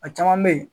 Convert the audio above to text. A caman bɛ yen